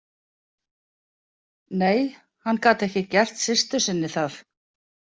Nei, hann gat ekki gert systur sinni það.